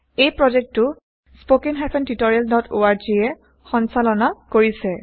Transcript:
এই প্ৰজেক্টটো httpspoken tutorialorg এ সঞ্চালনা কৰিছে